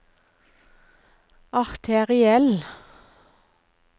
arteriell